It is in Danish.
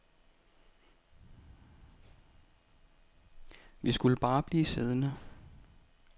Vi skulle bare blive siddende.